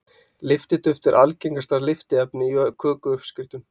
Lyftiduft er algengasta lyftiefni í kökuuppskriftum.